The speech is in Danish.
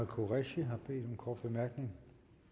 qureshi har bedt om en kort bemærkning